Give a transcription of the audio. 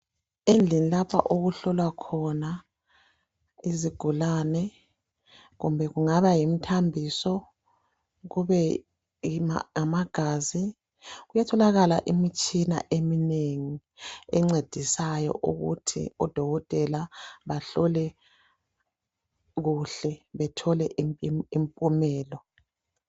Endlini lapha okuhlowa khona izigulane kumbe kungaba yimthambiso kube ngamagazi Kuyatholakala imitshina eminengi encedisayo ukuthi odokotela bahlole kuhle bethole impumelo.